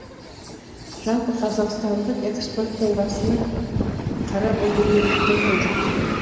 жалпы қазақстандық экспорттың басына қара бұлт үйіріліп тұрған жоқ